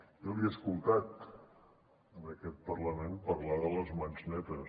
jo li he escoltat en aquest parlament parlar de les mans netes